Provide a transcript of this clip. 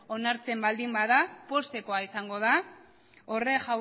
onartzen baldin bada poztekoa izango da horrek